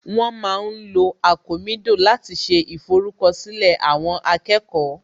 Wọ́n ma ń lo àkomídò láti ṣe ìforúkọ̀sílẹ̀ àwọn akẹ́kọ̀ọ́